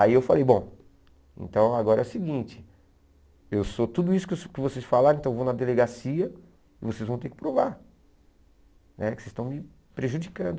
Aí eu falei, bom, então agora é o seguinte, eu sou tudo isso que você que vocês falaram, então eu vou na delegacia e vocês vão ter que provar né, que vocês estão me prejudicando.